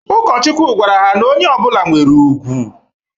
Ụkọchukwu gwara ha na onye ọbụlạ nwere ùgwù.